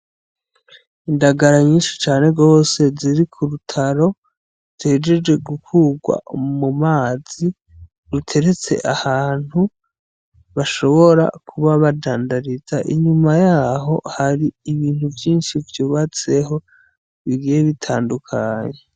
Indagara nyishi cane gose ziri ku rutaro zihejeje gukurwa mu mazi ruteretse ahantu bashobora kuba badandariza inyuma Yaho hari ibintu vyinshi vyubatseho bigiye bitandukanye.